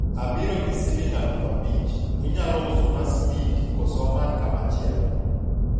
abiro gi siling' aluf abich, inyalo uso na smiti kose amany kamachielo?